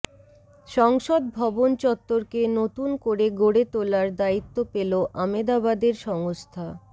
সংসদ ভবন চত্বরকে নতুন করে গড়ে তোলার দায়িত্ব পেল আমেদাবাদের সংস্থা